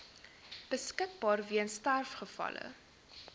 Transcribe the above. beskikbaar weens sterfgevalle